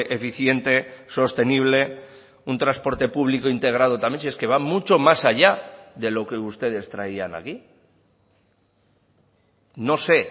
eficiente sostenible un transporte público integrado también si es que va mucho más allá de lo que ustedes traían aquí no sé